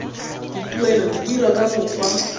dituelo di dirwa ka mokgwa